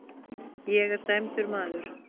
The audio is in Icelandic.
Ég er dæmdur maður.